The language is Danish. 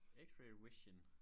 X-ray vision